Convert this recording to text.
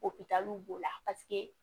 Opitaliw b'o la paseke